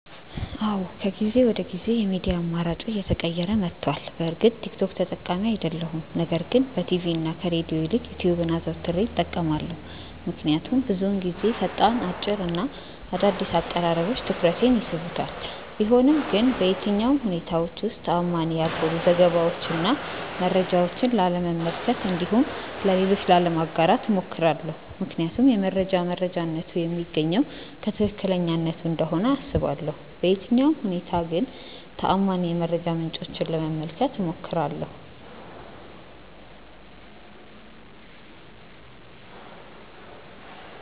አዎ ከጊዜ ወደ ጊዜ የሚዲያ አማራጬ እየተቀየረ መቷል። በእርግጥ ቲክ ቶክ ተጠቃሚ አይደለሁም ነገር ግን በቲቪ እና ከሬድዮ ይልቅ ዩትዩብን አዘውትሬ እጠቀማለሁ። ምክንያቱም ብዙውን ጊዜ ፈጣን፣ አጭር እና አዳዲስ አቀራረቦች ትኩረቴን ይስቡታል። ቢሆንም ግን በየትኛውም ሁኔታዎች ውስጥ ተአማኒ ያልሆኑ ዘገባዎችን እና መረጃዎችን ላለመመልከት እንዲሁም ለሌሎች ላለማጋራት እሞክራለሁ። ምክንያቱም የመረጃ መረጃነቱ የሚገኘው ከትክክለኛነቱ እንደሆነ አስባለሁ። በየትኛውም ሁኔታ ግን ተአማኒ የመረጃ ምንጮችን ለመመልከት እሞክራለሁ።